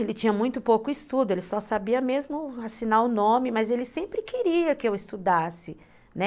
Ele tinha muito pouco estudo, ele só sabia mesmo assinar o nome, mas ele sempre queria que eu estudasse, né?